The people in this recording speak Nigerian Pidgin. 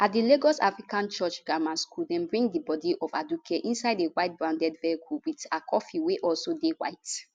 at di lagos african church grammar school dem bring di bodi of aduke inside a white branded vehicle wit her coffin wey also dey white